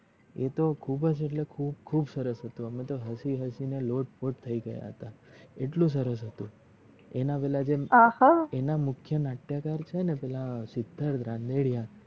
એ તો ખુબજ એટલે ખૂબ સરસ હતું અમે તો હસી હસી ને લોટપોટ થઈ ગયા હતા એટલું સરસ હતું એના પેલા જે આના મુખિયા નાટ્યકાર પેલા સિદ્ધર્ત રનદરયાન